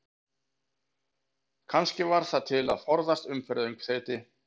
Kannski var það til að forðast umferðaröngþveiti?